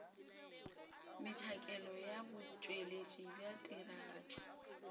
metšhakelo ya botšweletši bja tiragatšo